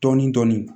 Dɔɔnin dɔɔnin